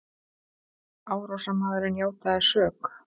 Árásarmaðurinn játaði sök